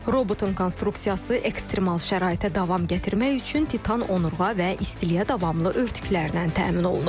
Robotun konstruksiyası ekstremal şəraitə davam gətirmək üçün titan onurğa və istiliyə davamlı örtüklərdən təmin olunub.